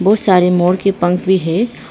बहुत सारे मोर के पंख भी है।